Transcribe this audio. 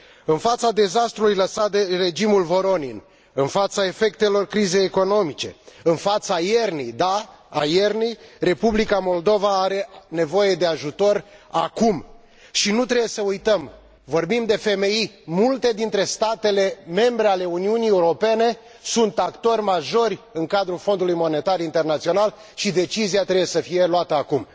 În fața dezastrului lăsat de regimul Voronin, în fața efectelor crizei economice, în fața iernii, da, a iernii, Republica Moldova are nevoie de ajutor acum și nu trebuie să uităm, vorbim de FMI, multe state membre ale Uniunii Europene sunt actori majori în cadrul Fondului Monetar Internațional și decizia trebuie să fie luată acum.